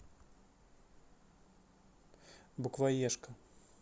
букваешка